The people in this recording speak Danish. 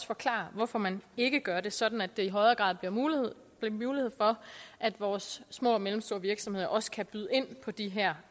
forklare hvorfor man ikke gør det sådan at der i højere grad bliver mulighed for at vores små og mellemstore virksomheder også kan byde ind på de her